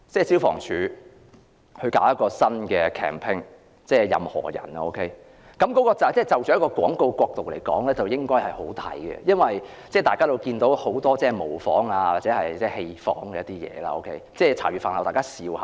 消防處最近推出一個代言人名叫"任何仁"，從廣告角度來看，這是很好的，因為大家也看到現已有不少模仿或戲仿出現，並成為大家茶餘飯後的話題。